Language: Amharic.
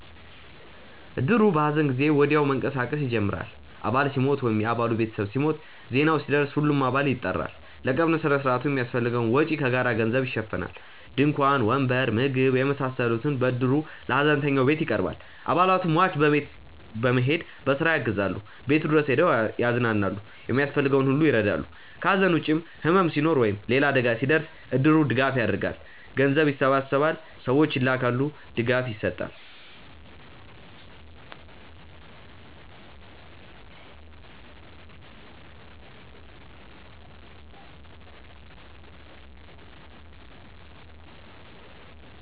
እድሩ በሐዘን ጊዜ ወዲያው መንቀሳቀስ ይጀምራል። አባል ሲሞት ወይም የ አባሉ ቤተሰብ ሲሞት፣ ዜናው ሲደርስ ሁሉም አባል ይጠራል። ለቀብር ሥነ ሥርዓቱ የሚያስፈልገውን ወጪ ከጋራ ገንዘብ ይሸፈናል። ድንኳን፣ ወንበር፣ ምግብ የመሳሰሉት በእድሩ ለሀዘንተኛው ቤት ይቀርባል። አባላቱ ሟች ቤት በመሄድ በስራ ያግዛሉ፣ ቤቱ ድረስ ሄደው ያዝናሉ፣ የሚያስፈልገውን ሁሉ ይረዳሉ። ከሐዘን ውጭም ሕመም ሲኖር ወይም ሌላ አደጋ ሲደርስ እድሩ ድጋፍ ያደርጋል። ገንዘብ ይሰበሰባል፣ ሰዎች ይላካሉ፣ ድጋፍ ይሰጣል።